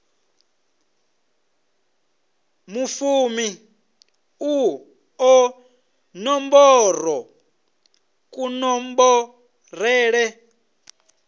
vhufumi u ḓo nomborwa kunomborele